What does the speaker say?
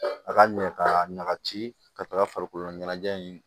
A ka ɲɛ ka ɲaga ci ka taga farikolo ɲɛnajɛ in